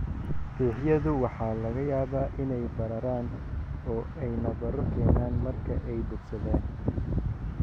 Fiixyadu waxa laga yaabaa inay bararaan oo ay nabarro keenaan marka ay bogsadaan.